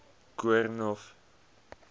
koornhof